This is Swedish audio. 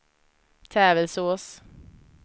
Tävelsås